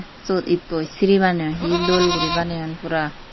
Siyot ittoi shiri baneyon hee dol gori baneyon pura.